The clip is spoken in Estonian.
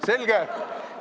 Selge.